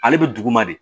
Ale bɛ duguma de